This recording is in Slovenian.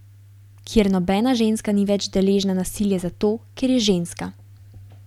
Kjer nobena ženska ni več deležna nasilja zato, ker je ženska.